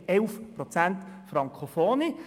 Wir haben 11 Prozent Frankofone.